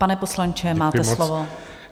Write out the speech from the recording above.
Pane poslanče, máte slovo.